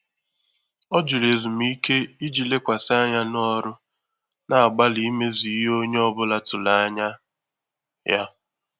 Ọ́ jụ́rụ̀ ézùmíké ìjí lékwàsị́ ányá n’ọrụ́, nà-àgbàlí ímézù ìhè ónyé ọ bụ́lá tụ́rụ̀ ányá yá.